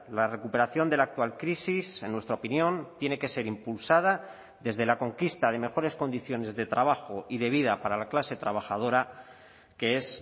la recuperación de la actual crisis en nuestra opinión tiene que ser impulsada desde la conquista de mejores condiciones de trabajo y de vida para la clase trabajadora que es